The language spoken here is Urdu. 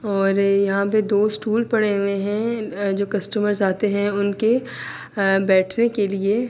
اور یہاں پی دو سٹول پڑے ہوئے ہے۔ جو کسٹمرز آتے ہے انکے بیٹھنے کے لئے--